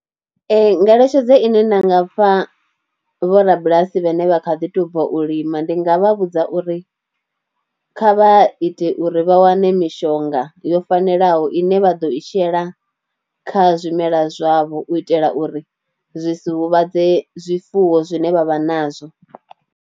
Ee ngeletshedzo ine nda nga fha vhorabulasi vhane vha kha ḓi tou bva u lima ndi nga vha vhudza uri kha vha ite uri vha wane mishonga yo fanelaho ine vha ḓo i shela kha zwimela zwavho u itela uri zwi si huvhadze zwifuwo zwine vha vha nazwo.